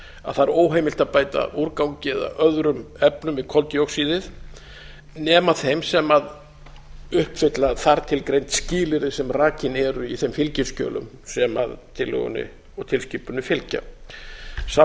að það er óheimilt að bæta úrgangi eða öðrum efnum við koldíoxíðið nema þeim sem uppfylla þar til greind skilyrði sem rakin eru í þeim fylgiskjölum sem tillögunni og tilskipuninni fylgja þeim